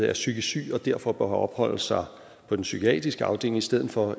er psykisk syg og derfor bør opholde sig på en psykiatrisk afdeling i stedet for